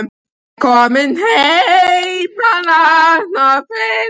Er hann kominn heim hann Arnar?